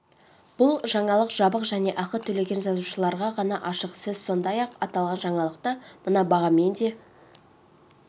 бұл жаңалық жабық және ақы төлеген жазылушыларға ғана ашық сіз сондай-ақ аталған жаңалықты мына бағамен де